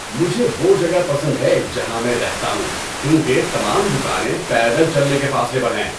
مجھے وہ جگہ پسند ہے جہاں میں رہتا ہوں کیونکہ تمام دکانیں پیدل چلنے کے فاصلے پر ہیں۔